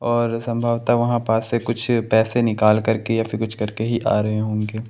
और संभवता वहां पास से कुछ पैसे निकाल करके या फिर कुछ करके आ रहे होंगे।